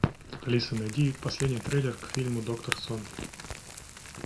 алиса найди последний трейлер к фильму доктор сон